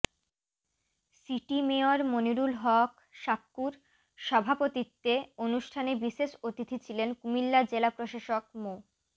city mayor Monirul Haque সাক্কুর সভাপতিত্বে অনুষ্ঠানে বিশেষ অতিথি ছিলেন কুমিল্লা জেলা প্রশাসক মো